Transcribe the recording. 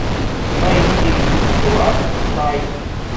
найди ласт найт